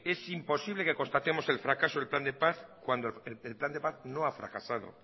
es imposible que constatemos el fracaso del plan de paz cuando el plan de paz no ha fracasado